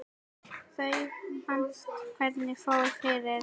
Þú manst hvernig fór fyrir